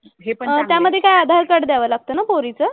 अह त्यामधे काय आधार कार्ड द्यावं लागतं ना पोरीचं?